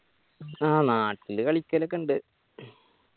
ആ നാട്ടില് കളിക്കലൊക്കെ ഇണ്ട്